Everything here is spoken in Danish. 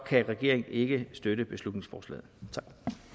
kan regeringen ikke støtte beslutningsforslaget tak